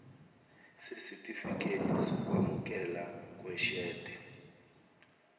sesitifikedi sokwamukeleka kweshede